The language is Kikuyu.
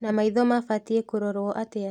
Na maitho mabatiĩ kũrorwo atĩa